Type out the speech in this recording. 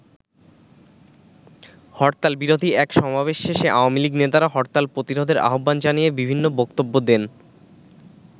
হরতাল বিরোধী এক সমাবেশ শেষে আওয়ামী লীগ নেতারা হরতাল প্রতিরোধের আহ্বান জানিয়ে বিভিন্ন বক্তব্য দেন।